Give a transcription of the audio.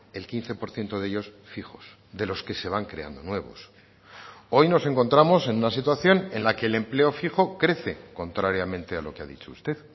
el quince por ciento de ellos fijos de los que se van creando nuevos hoy nos encontramos en una situación en la que el empleo fijo crece contrariamente a lo que ha dicho usted